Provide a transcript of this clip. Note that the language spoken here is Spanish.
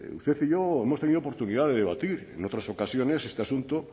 usted y yo hemos tenido oportunidad de debatir en otras ocasiones este asunto